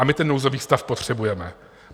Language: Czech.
A my ten nouzový stav potřebujeme.